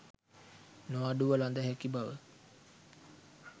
නොඅඩුව ලද හැකි බවයි.